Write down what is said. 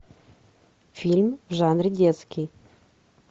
фильм в жанре детский